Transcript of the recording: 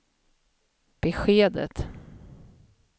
beskedet